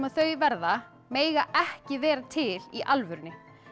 þau verða mega ekki vera til í alvörunni